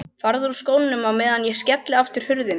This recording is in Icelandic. Farðu úr skónum á meðan ég skelli aftur hurðinni.